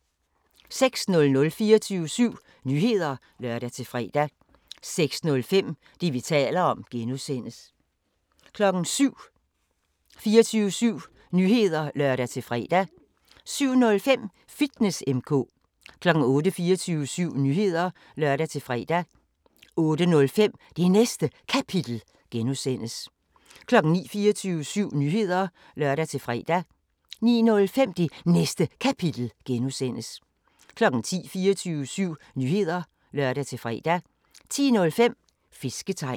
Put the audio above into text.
06:00: 24syv Nyheder (lør-fre) 06:05: Det, vi taler om (G) 07:00: 24syv Nyheder (lør-fre) 07:05: Fitness M/K 08:00: 24syv Nyheder (lør-fre) 08:05: Det Næste Kapitel (G) 09:00: 24syv Nyheder (lør-fre) 09:05: Det Næste Kapitel (G) 10:00: 24syv Nyheder (lør-fre) 10:05: Fisketegn